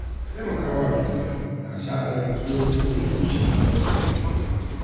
Taimaka wa juna na sa a rage matsalolin bugun zuciya da damuwa.